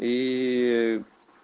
и